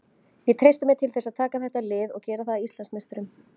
Ég treysti mér til þess að taka þetta lið og gera það að Íslandsmeisturum.